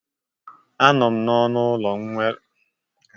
Anọ m n'ọnụ ụlọ nwere onwe m mgbe m bụ nwata akwụkwọ